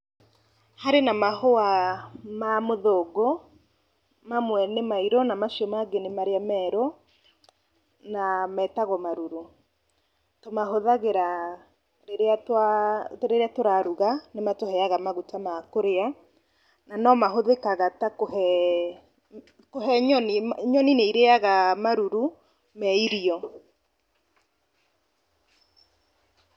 Harĩ na mahũa ma mũthũngũ, mamwe nĩ mairũ na macio mangĩ nĩ merũ, na metagwo marũrũ, na tũmahũthagĩra rĩrĩa twa rĩrĩa tũraruga, nĩ matũheaga magũta ma kũrĩa, na no mahũthĩkaga ta kũhe, kũhe nyoni, nyoni nĩ irĩaga maruru me irio.